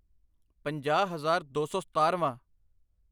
ਪੰਜਾਹ ਹਜ਼ਾਰ ਦੋ ਸੌ ਸਤਾਰ੍ਹਵਾਂ